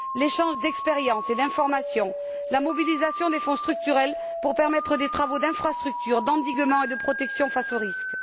l'échange d'expériences et d'informations la mobilisation des Fonds structurels pour permettre des travaux d'infrastructures, d'endiguement et de protection face aux risques